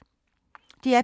DR P2